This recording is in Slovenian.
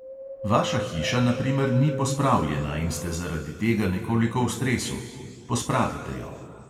Vaša hiša na primer ni pospravljena in ste zaradi tega nekoliko v stresu: pospravite jo.